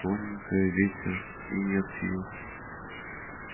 тоненькая весер и нет её